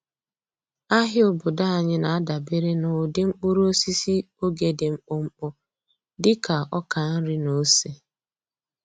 Ahịa obodo anyị na-adabere na ụdị mkpụrụosisi oge dị mkpụmkpụ dịka ọka nri na ose.